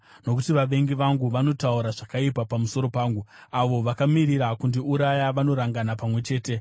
Nokuti vavengi vangu vanotaura zvakaipa pamusoro pangu; avo vakamirira kundiuraya vanorangana pamwe chete.